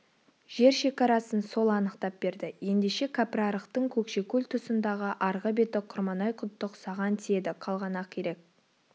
жер шекарасын сол анықтап берді ендеше кәпірарықтың көкшекөл тұсындағы арғы беті құрманай-құттық саған тиеді қалған ақирек